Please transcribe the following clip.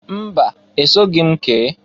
Mba! Esoghi m kee.